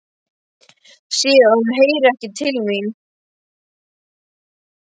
Sé að hún heyrir ekki til mín.